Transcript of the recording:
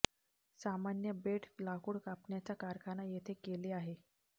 सामान्य बेड लाकूड कापण्याचा कारखाना येथे केले आहे